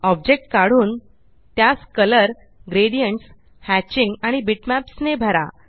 object काढून त्यासcolor gradients hatching आणि bitmapsने भरा